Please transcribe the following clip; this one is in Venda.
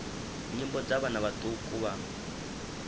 nyimbo dza vhana vhaṱuku vha